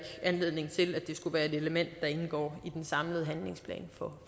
anledning til at det skulle være et element der indgår i den samlede handlingsplan